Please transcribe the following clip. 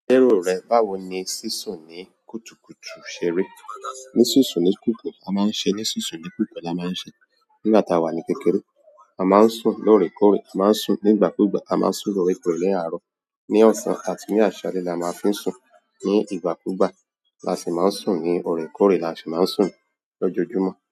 Léèrò rẹ báwo ni sísún ní kùtùkùtù ṣe rí? Ní sísún ní kútùkù a máa ń ṣe ní sísùn ní kùtù a máa ń ṣe nígbà tá a wà ní kékeré. A máa ń sùn lóòrèkóòrè, a máa ń sùn ní ìgbàkúgbà, a máa ń sùn lóòrèkóòrè ní àárọ̀. Ni ọ̀sán àti ni àsálé la máa fi ń sùn. Ní ìgbàkúgbà la sì máa ń sùn ní òrèkóòrè la sì máa ń sùn lójoojúmọ́